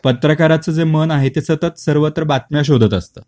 पत्रकाराच जे मन आहे ते सतत सर्वत्र बातम्या शोधत असतात